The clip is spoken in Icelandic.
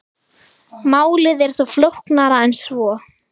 Málið er þó flóknara en svo.